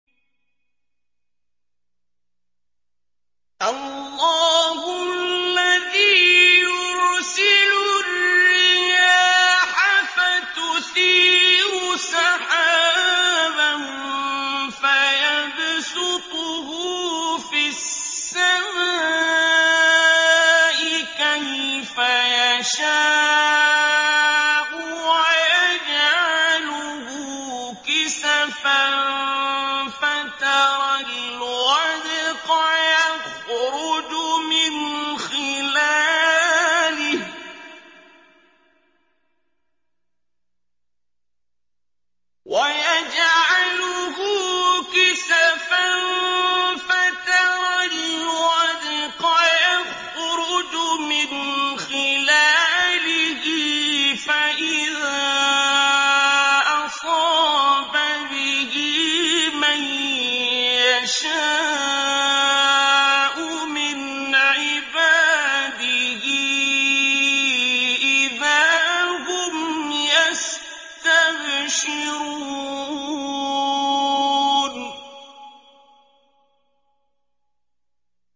اللَّهُ الَّذِي يُرْسِلُ الرِّيَاحَ فَتُثِيرُ سَحَابًا فَيَبْسُطُهُ فِي السَّمَاءِ كَيْفَ يَشَاءُ وَيَجْعَلُهُ كِسَفًا فَتَرَى الْوَدْقَ يَخْرُجُ مِنْ خِلَالِهِ ۖ فَإِذَا أَصَابَ بِهِ مَن يَشَاءُ مِنْ عِبَادِهِ إِذَا هُمْ يَسْتَبْشِرُونَ